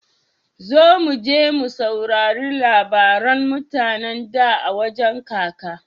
Zo muje mu saurari labaran mutane da a wajan kaka.